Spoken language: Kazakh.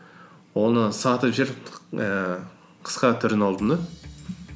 оны сатып жіберіп ііі қысқа түрін алдым да